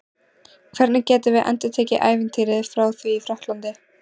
Hvernig getum við endurtekið ævintýrið frá því í Frakklandi?